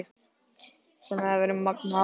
Sem hefði verið magnað afrek.